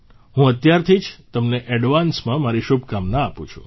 હું અત્યારથી જ તમને એડવાન્સમાં મારી શુભકામના આપું છું